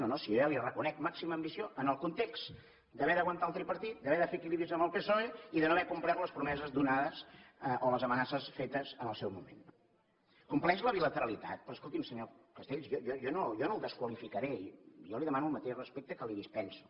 no no si jo ja li ho reconec màxima ambició en el context d’haver d’aguantar el tripartit d’haver de fer equilibris amb el psoe i de no haver complert les promeses donades o les amenaces fetes en el seu moment no compleix la bilateralitat però escolti’m senyor castells jo no el desqualificaré jo li demano el mateix respecte que li dispenso